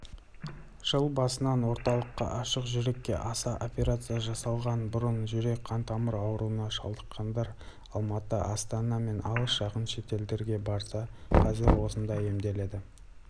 жыл басынан орталықта ашық жүрекке аса операция жасалған бұрын жүрек-қантамыр ауруына шалдыққандар алматы астана мен алыс-жақын шетелге барса қазір осында емделеді